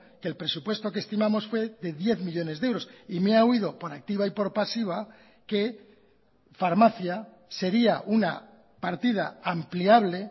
que el presupuesto que estimamos fue de diez millónes de euros y me ha oído por activa y por pasiva que farmacia sería una partida ampliable